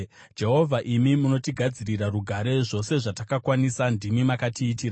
Jehovha, imi munotigadzirira rugare; zvose zvatakakwanisa ndimi makatiitira.